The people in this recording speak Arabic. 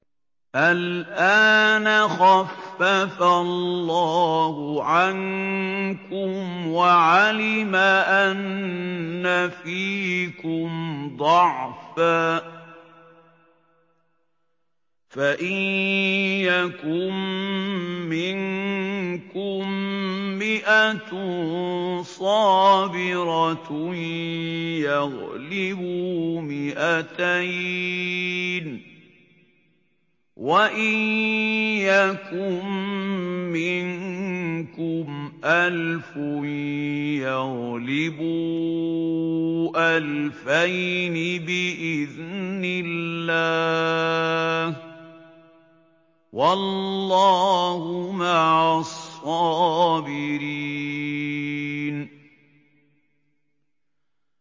الْآنَ خَفَّفَ اللَّهُ عَنكُمْ وَعَلِمَ أَنَّ فِيكُمْ ضَعْفًا ۚ فَإِن يَكُن مِّنكُم مِّائَةٌ صَابِرَةٌ يَغْلِبُوا مِائَتَيْنِ ۚ وَإِن يَكُن مِّنكُمْ أَلْفٌ يَغْلِبُوا أَلْفَيْنِ بِإِذْنِ اللَّهِ ۗ وَاللَّهُ مَعَ الصَّابِرِينَ